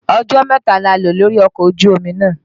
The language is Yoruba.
Ọjọ́ mẹ́ta ni a lò lórí ọkọ̀ ojú omi náà.